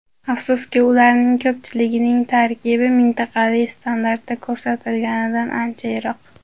Afsuski, ularning ko‘pchiligining tarkibi mintaqaviy standartda ko‘rsatilganidan ancha yiroq.